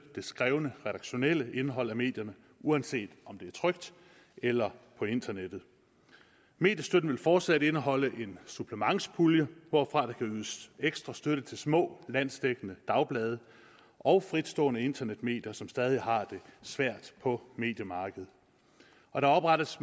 det skrevne redaktionelle indhold af medierne uanset om de er trykt eller på internettet mediestøtten vil fortsat indeholde en supplementspulje hvorfra der ydes ekstra støtte til små landsdækkende dagblade og fritstående internetmedier som stadig har det svært på mediemarkedet og der oprettes